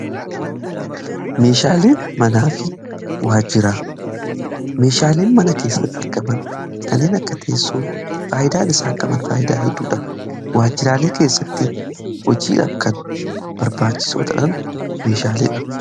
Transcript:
hanaafi waajmeeshaaleen mana keessatti argaban kanneen akka teessoo faayidaa n isaan qaban faayidaa hedduudha waajiraalee keessatti hojiidhaf kan barbaachisootadhan meeshaaleedha